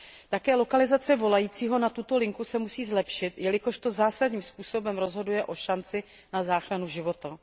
Také lokalizace volajícího na tuto linku se musí zlepšit, jelikož to zásadním způsobem rozhoduje o šanci na záchranu života.